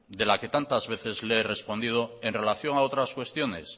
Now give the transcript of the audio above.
de la que tantas veces le he respondido en relación a otras cuestiones